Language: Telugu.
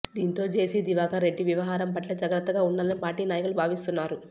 దీంతో జేసీ దివాకర్ రెడ్డి వ్యవహారం పట్ల జాగ్రత్తగా ఉండాలని పార్టీ నాయకులు భావిస్తున్నారు